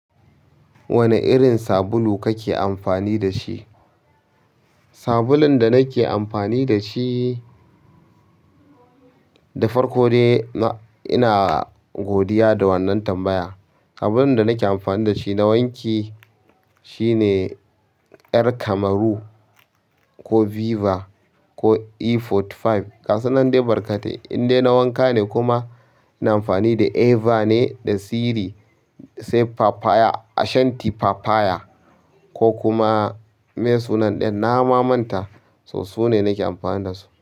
Wane irin sabulu kake amfani da shi? Sabulun da nake amfani da shi, da farko dai ina godiya da wannan tambaya. Sabulun da nake amfani da shi na wanki. Shi ne ƴar Cameroon ko Viva ko e arba'in da biyar. Gasu nan dai barkatai. Inde na wanka ne kuma, ina amfani da Eva ne da Siri, sai Shanti Papaya ko kuma mai sunan ɗayan na ma manta, so su ne nake amfani da su.